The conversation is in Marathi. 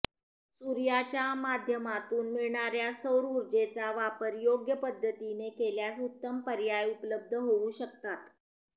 सूर्याच्या माध्यमातून मिळणाऱ्या सौर ऊर्जेचा वापर योग्य पद्धतीने केल्यास उत्तम पर्याय उपलब्ध होऊ शकतात